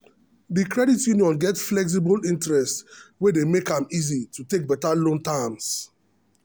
the credit union get flexible interest wey dey make am easy to talk better loan terms.